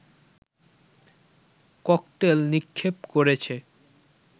cocktail নিক্ষেপ করেছে